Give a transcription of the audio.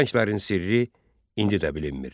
Bu rənglərin sirri indi də bilinmir.